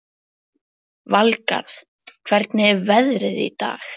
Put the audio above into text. Valgarð, hvernig er veðrið í dag?